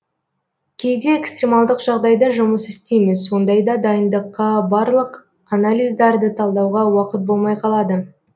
кейде экстремалдық жағдайда жұмыс істейміз ондайда дайындыққа барлық анализдарды талдауға уақыт болмай қалады